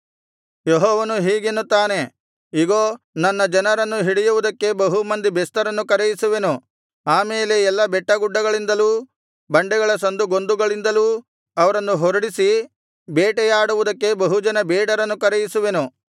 ಯೆಹೋವನು ಹೀಗೆನ್ನುತ್ತಾನೆ ಇಗೋ ನನ್ನ ಜನರನ್ನು ಹಿಡಿಯುವುದಕ್ಕೆ ಬಹು ಮಂದಿ ಬೆಸ್ತರನ್ನು ಕರೆಯಿಸುವೆನು ಆ ಮೇಲೆ ಎಲ್ಲಾ ಬೆಟ್ಟಗುಡ್ಡಗಳಿಂದಲೂ ಬಂಡೆಗಳ ಸಂದುಗೊಂದುಗಳಿಂದಲೂ ಅವರನ್ನು ಹೊರಡಿಸಿ ಬೇಟೆಯಾಡುವುದಕ್ಕೆ ಬಹುಜನ ಬೇಡರನ್ನು ಕರೆಯಿಸುವೆನು